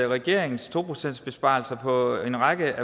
regeringen to procentsbesparelser på en række